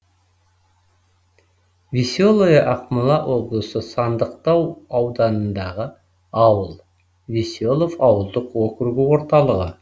веселое ақмола облысы сандықтау ауданындағы ауыл веселов ауылдық округі орталығы